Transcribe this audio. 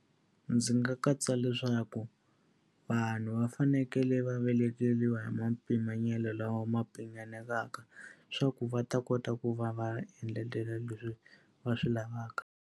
Ndzi nga katsa leswaku vanhu va fanekele va hi ma mpimanyeto lawa ma mpimanyeteka leswaku va ta kota ku va va endletela leswi va swi lavaka.